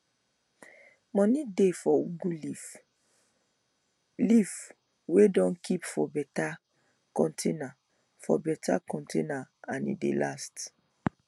moni dey for ugu leave leaf wey dem keep for beta container for beta container and e de last